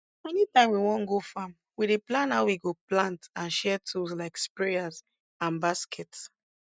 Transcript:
anytime we wan go farm we dey plan how we go plant and share tools like sprayers and baskets